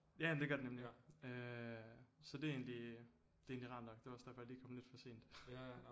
Ja det gør det nemlig øh så det er egentlig det er egentlig rart nok det var også derfor jeg lige kom lidt for sent